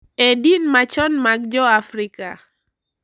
E din machon mag Joafrika,